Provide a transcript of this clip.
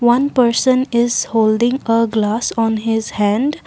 one person is holding a glass on his hand.